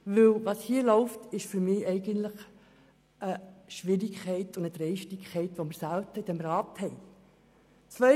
Was hier abläuft, ist für mich eine Schwierigkeit und eine Dreistigkeit, wie wir sie in diesem Rat selten haben.